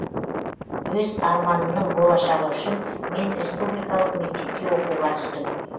өз арманымның болашағы үшін мен республикалық мектепке оқуға түстім